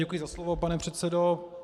Děkuji za slovo, pane předsedo.